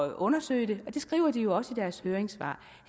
at undersøge det og det skriver de jo også i deres høringssvar